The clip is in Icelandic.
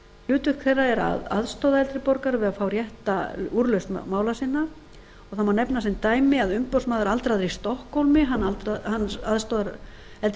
hlutverk þeirra er að aðstoða eldri borgara við að fá rétta úrlausn mála sinna og það má nefna sem dæmi að umboðsmaður aldraðra í stokkhólmi aðstoðar eldri